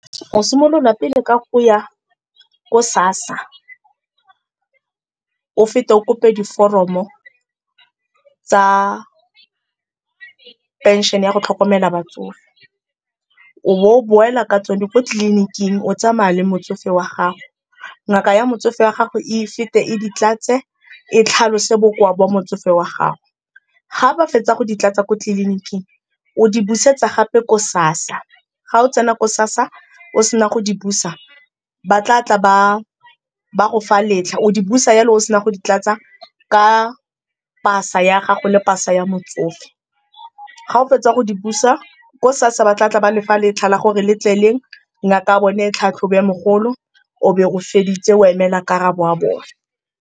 Go simolola pele ka go ya ko SASSA, o fete o kope diforomo tsa phenšene ya go tlhokomela batsofe. O bo boela ka tsone ko tleliniking o tsamaya le motsofe wa gago, ngaka ya motsofe wa gago e fete e di tlatse e tlhalose bokoa bo motsofe wa gago. Ga ba fetsa go ditlatsa ko tleliniking o di busetsa gape ko SASSA. Ga o tsena ko SASSA o sena go di busa ba tla tla ba go fa letlha, o di busa jalo o sena go di tlatsa ka pasa ya gago le pasa ya motsofe. Ga o fetsa go di busa ko SASSA ba tla tla ba le fa letlha la gore letle leng, ngaka ya bone e tlhatlhobe mogolo, o be o feditse o emela karabo ya bone.